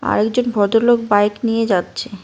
আর একজন ভদ্রলোক বাইক নিয়ে যাচ্ছে।